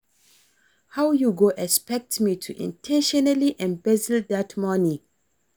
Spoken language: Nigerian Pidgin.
How you go expect me to in ten tionally embezzle dat money